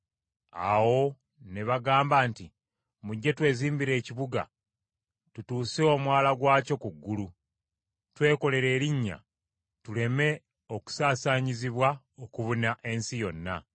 Awo ne bagamba nti, “Mujje twezimbire ekibuga, tutuuse omunaala gwakyo ku ggulu; twekolere erinnya, tuleme okusaasaanyizibwa okubuna ensi yonna.”